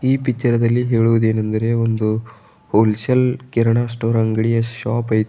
ಈ ಪಿಚ್ಚರ್ ದಲ್ಲಿ ಹೇಳುವುದೇನೆಂದರೆ ಒಂದು ಹೋಲ್ ಸೇಲ್ ಕಿರಣ ಸ್ಟೋರ್ ಅಂಗಡಿಯ ಶಾಪ್ ಐತಿ.